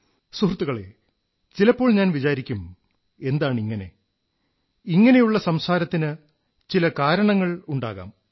സുഹൃത്തുക്കളേ ചിലപ്പോൾ ഞാൻ വിചാരിക്കും എന്താണിങ്ങനെ ഇങ്ങനെയുള്ള സംസാരത്തിന് ചില കാരണങ്ങളുണ്ടാകാം